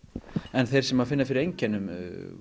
en þeir sem finna fyrir einkennum